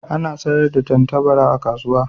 Ana sayar da tattabara a kasuwa.